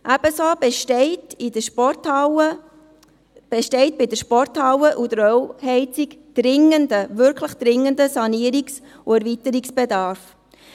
Ebenso besteht bei der Sporthalle und der Öl-Heizung ein wirklich dringender Sanierungs- und Erweiterungsbedarf.